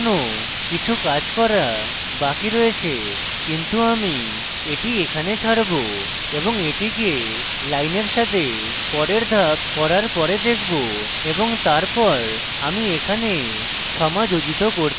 এখানে এখনো কিছু কাজ করা বাকি রয়েছে কিন্তু আমি এটি এখানে ছাড়বো এবং এটিকে lines সাথে পরের ধাপ করার পরে দেখব এবং তারপর আমি এখানে সমাযোজিত করতে পারি